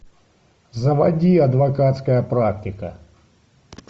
заводи адвокатская практика